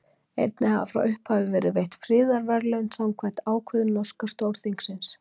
Einnig hafa frá upphafi verið veitt friðarverðlaun samkvæmt ákvörðun norska Stórþingsins.